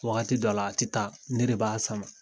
Wagati dɔ la, a te taa. Ne de b'a sama.